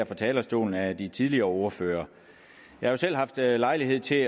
fra talerstolen af de tidligere ordførere jeg har selv haft lejlighed til at